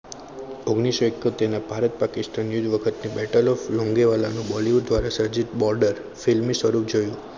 ઓગ્ણીસો ઈકોતેર ના ભારત પાકિસ્તાન ના યુદ્ધમાં યુદ્ધ વખતે બેટલો લૂંગી વાળા નું bollywood દ્વારા સર્જિત border filmy સ્વરૂપ જોયું